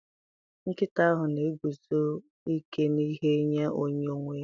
Nkịta ahụ na-eguzosi ike n'ihe nye onye nwe ya.